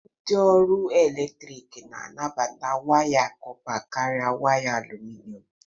Ndị ọrụ eletrik na-anabata waya kọpa kari waya alụmịnọm